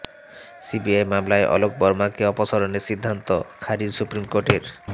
CBI মামলায় অলোক বার্মাকে অপসারণের সিদ্ধান্ত খারিজ সুপ্রিম কোর্টের